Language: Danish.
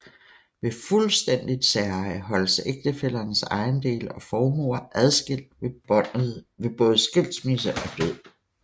Ved fuldstændigt særeje holdes ægtefællernes ejendele og formuer adskilt ved både skilsmisse og død